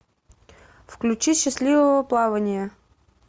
включи счастливого плавания